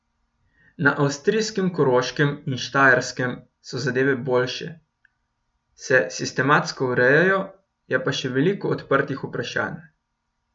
Na avstrijskem Koroškem in Štajerskem so zadeve boljše, se sistemsko urejajo, je pa še veliko odprtih vprašanj.